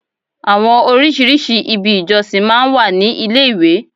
Àwọn orísìírísìí ibi ìjọsìn máa ń wà ní ilé ìwé.